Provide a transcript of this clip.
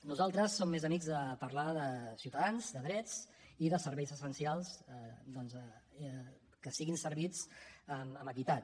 nosaltres som més amics de parlar de ciutadans de drets i de serveis essencials doncs que siguin servits amb equitat